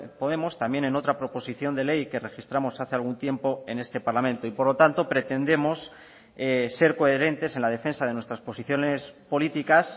podemos también en otra proposición de ley que registramos hace algún tiempo en este parlamento y por lo tanto pretendemos ser coherentes en la defensa de nuestras posiciones políticas